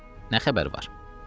Nə xəbər var?